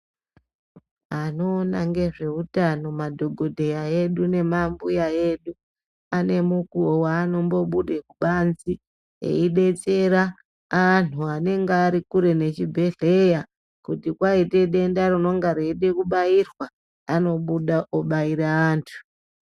Ano ona ngezve utano madhokodheya edu ne ma mbuya edu ane mukuwo wanombo bude kubanze eyi detsera antu anenge ari kure ne chibhedhleya kuti kwaite denda rinonga reide kubairwa anobuda obaira antu.